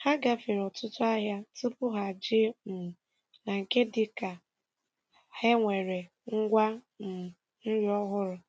Ha gafere ọtụtụ ahịa tupu ha jee um na nke dịka ha e nwere ngwa um nri ọhụrụ